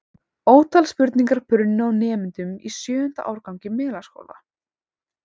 Ótal spurningar brunnu á nemendum í sjöunda árgangi Melaskóla.